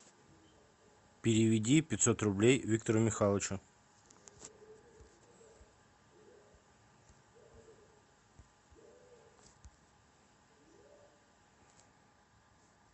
переведи пятьсот рублей виктору михайловичу